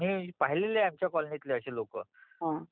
हो अगदी बरोबर आहे, मी पहिलेले आहेत आमच्या कॉलनीतली असे लोक